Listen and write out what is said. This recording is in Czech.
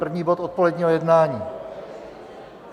První bod odpoledního jednání.